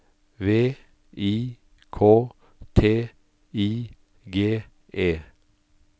V I K T I G E